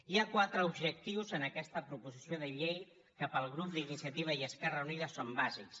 hi ha quatre objectius en aquesta proposició de llei que pel grup d’iniciativa i esquerra unida són bàsics